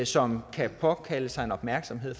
som kan påkalde sig en opmærksomhed